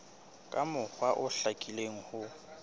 ka mokgwa o hlakileng ho